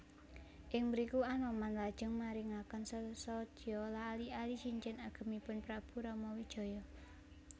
Ing mriku Anoman lajeng maringaken sesotya ali ali cincin agemipun Prabu Ramawijaya